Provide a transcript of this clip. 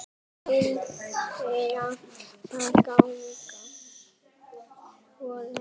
Viljið þið ganga svo langt?